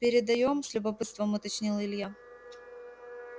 передаём с любопытством уточнил илья